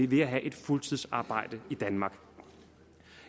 ved at have et fuldtidsarbejde i danmark